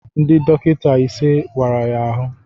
Ndị dọkịta ise wara ya ahụ